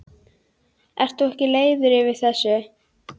Ert þú ekki leiður yfir þessu?